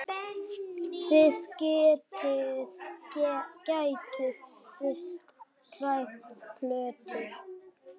Þið gætuð þurft tvær plötur.